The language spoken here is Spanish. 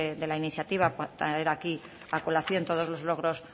de la iniciativa traer aquí a colación todos los logros